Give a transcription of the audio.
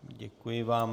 Děkuji vám.